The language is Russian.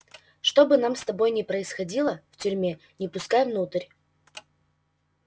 что бы нам с тобой ни происходило в тюрьме не пускай внутрь